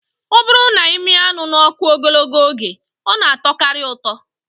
Ọ bụrụ na ị mịa anụ n'ọkụ ogologo oge, ọ na atọkarị ụtọ